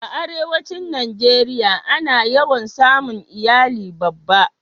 a arewacin najeriya a na yawan samun iyali babba